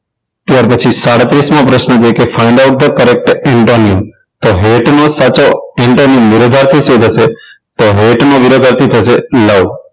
ત્યાર પછી સાડત્રીસ મો પ્રશ્ન છે find out the correct intent તો hate નો સાચો intent વિરોધાર્થી શું થશે તો hate નો વિરોધાર્થી થશે love